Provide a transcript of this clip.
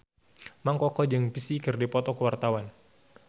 Mang Koko jeung Psy keur dipoto ku wartawan